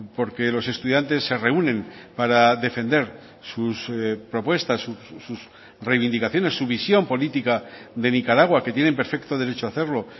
porque los estudiantes se reúnen para defender sus propuestas sus reivindicaciones su visión política de nicaragua que tienen perfecto derecho a hacerlo